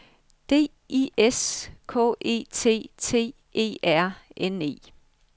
D I S K E T T E R N E